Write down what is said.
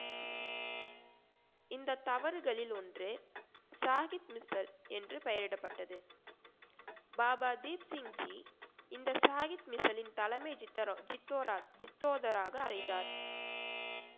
இந்த தவறுகளில் ஒன்று சாஹிப் மிஸ்டர் என்று பெயரிடப்பட்டது பாபா தீப் சிங் ஜி இந்த சாஹிப் மிசிலின் தலைமை ஜித்ர~ ஜித்தோராக்~ ஜித்தோதராக அறைந்தார்